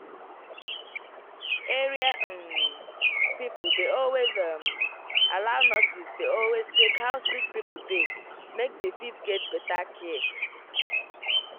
area um people dey always um allow nurses dey always check how sick pipo dey make dey fit get better care.